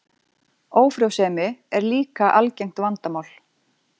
Ófrjósemi er líka algengt vandamál.